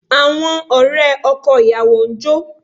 Àwọn ọ̀rẹ́ ọkọ ìyàwó ń jó